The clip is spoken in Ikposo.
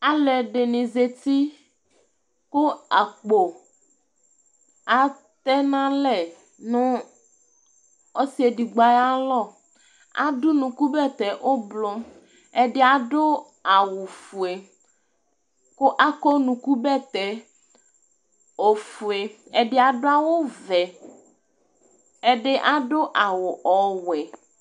ɑlụɛɗiɲzăti ɑkpó ɑtɛɲɑlɛ ɲu ọsiɛɗigbo ɑyɑmɔ ɑḍụ ũɲụku bɛtɛ ũblu ɛɗiɑɗụ ɑwũfuɛ kụ ɑkɔ ũɲụku bẽtɛ ɔfụɛ ɛɗiɑɗũ ɑwụfụɛ ɛɗi ɑɗụ ɑwụvẽ ɛɗiɑḍụ ƹlɑwụ ɔwẽ